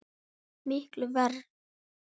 Miklu verr.